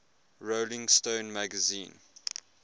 rolling stone magazine